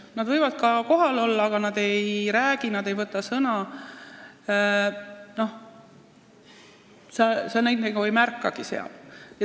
Nad võivad ka kohal olla, aga nad ei räägi, ei võta sõna – sa nagu ei märkagi neid seal.